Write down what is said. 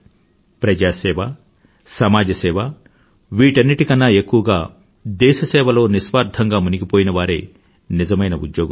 ప్రజాసేవ సమాజ సేవ వీటన్నింటికన్నా ఎక్కువగా దేశ సేవ లో నిస్వార్థంగా మునిగిపోయిన వారే నిజమైన ఉద్యోగులు